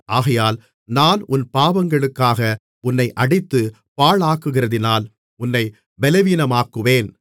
ஆகையால் நான் உன் பாவங்களுக்காக உன்னை அடித்துப் பாழாக்குகிறதினால் உன்னைப் பலவீனமாக்குவேன்